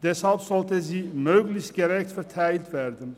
Deshalb sollte sie möglichst gerecht verteilt werden.